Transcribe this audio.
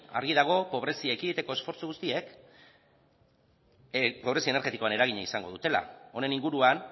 argi dago pobrezia ekiditeko esfortzu guztiek pobrezia energetikoan eragina izango dutela honen inguruan